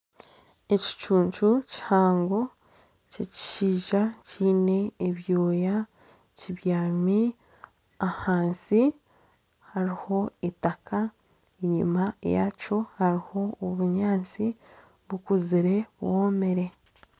Ekicuncu kihango Ky'ekishaija kiine ebyooya kibyami ahansi hariho eitaka enyima yakyo hariho obunyaantsi bukuzire bwomire.